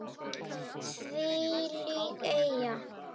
Þvílík elja.